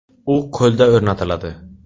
U qo‘lda o‘rnatiladi.